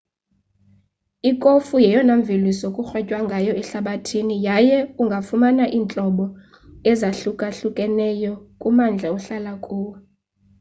ikofu yeyona mveliso kurhwetywa ngayo ehlabathini yaye ungafumana iintlobo ezahlukahlukeneyo kummandla ohlala kuwo